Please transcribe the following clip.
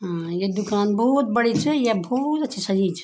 अ ये दूकान बहौत बड़ी च या बहौत अच्छी सजई च।